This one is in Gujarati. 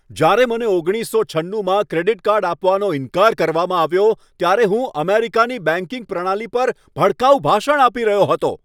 જ્યારે મને ઓગણીસસો છન્નુમાં ક્રેડિટ કાર્ડ આપવાનો ઇનકાર કરવામાં આવ્યો ત્યારે હું અમેરિકાની બેંકિંગ પ્રણાલી પર ભડકાઉ ભાષણ આપી રહ્યો હતો.